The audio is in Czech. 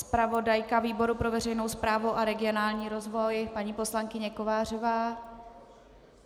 Zpravodajka výboru pro veřejnou správu a regionální rozvoj paní poslankyně Kovářová?